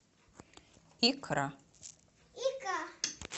икра